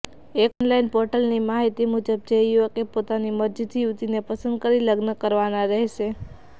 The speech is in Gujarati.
એક ઓનલાઈન પોર્ટલની માહિતી મુજબ જે યુવકે પોતાની મરજીથી યુવતીને પસંદ કરી લગ્ન કરવાના રહેશે